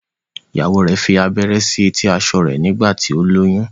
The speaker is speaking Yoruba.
ìyàwó rẹ fí abẹrẹ sí eti aṣọ rẹ nígbà tí o lóyún.